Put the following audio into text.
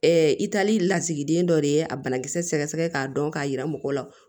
i taali lasigiden dɔ de ye a banakisɛ sɛgɛsɛgɛ k'a dɔn k'a yira mɔgɔ la